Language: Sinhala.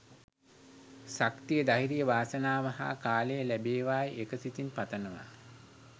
ශක්තිය ධෛර්යය වාසනාව හා කාලය ලැබේවායි එක සිතින් පතනවා